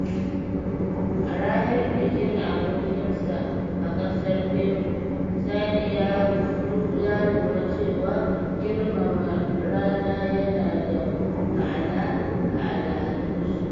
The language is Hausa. A ranar bikin abokinsa a ƙasar Peru, Sani ya lura cewa girmama rana yana da ma’ana a al’adunsu.